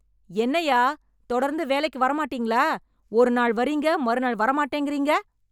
என்னய்யா, தொடர்ந்து வேலைக்கு வரமாட்டீங்களா, ஒரு நாள் வர்றீங்க, மறுநாள் வரமாட்டேங்கறீங்க...